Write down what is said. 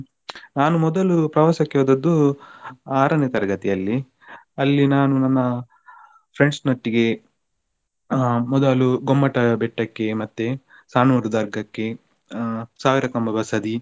ನಾನು ಮೊದಲು ಪ್ರವಾಸಕ್ಕೆ ಹೋದದ್ದು ಆರನೇ ತರಗತಿಯಲ್ಲಿ. ಅಲ್ಲಿ ನಾನು ನನ್ನ friends ನೊಟ್ಟಿಗೆ ಆಹ್ ಮೊದಲು ಗೊಮ್ಮಟ ಬೆಟ್ಟಕ್ಕೆ ಮತ್ತೆ Sanoor ದರ್ಗಾಕ್ಕೆ ಆಹ್ ಸಾವಿರ ಕಂಬ ಬಸದಿ.